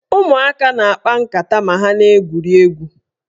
Ụmụaka na-akpa nkata ma ha na-egwuri egwu